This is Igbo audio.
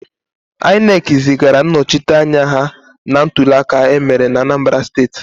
INEC zigara ndị nnọchiteanya ha na ntuliaka emere na Anambara steti.